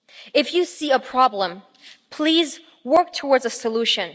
If you see a problem, please work towards a solution.